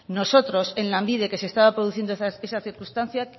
nosotros en lanbide que se estaba produciendo esa circunstancia